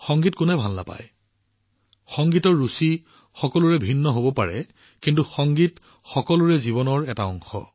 সংগীত কোনে ভাল নাপায় সকলোৰে সংগীতৰ পছন্দ বেলেগ হব পাৰে কিন্তু সংগীত সকলোৰে জীৱনৰ এটা অংশ